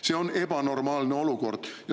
See on ebanormaalne olukord.